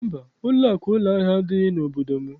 Mba, ụlọakụ ụlọahịa adịghị n'obodo m.